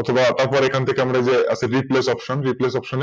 অথবা তারপর এখান থেকে আমরা যে আছে Replace option